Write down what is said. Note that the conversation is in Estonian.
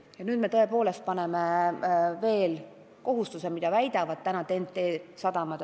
Ja nüüd me tõepoolest paneme seadusse kirja kohustuse, mida väidetavasti TEN-T sadamad juba täidavad.